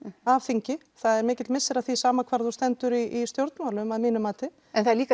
af þingi það er mikill missir af því sama hvar þú stendur í stjórnmálum að mínu mati en það er líka